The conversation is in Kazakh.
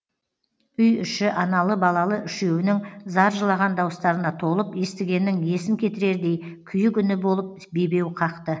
үй іші аналы балалы үшеуінің зар жылаған дауыстарына толып естігеннің есін кетірердей күйік үні болып бебеу қақты